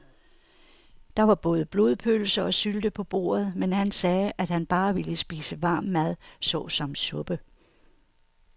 Der var både blodpølse og sylte på bordet, men han sagde, at han bare ville spise varm mad såsom suppe.